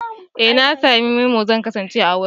Ee na sami memo, zan kasance a wurin.